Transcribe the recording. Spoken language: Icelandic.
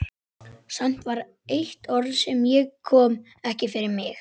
Samt var eitt orð sem ég kom ekki fyrir mig.